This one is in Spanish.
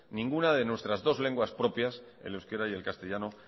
ninguna de nuestras dos lenguas propias el euskera y el castellano